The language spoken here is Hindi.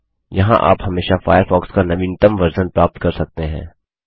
यहाँ आप हमेशा फ़ायरफ़ॉक्स का नवीनतम वर्ज़न प्राप्त कर सकते हैं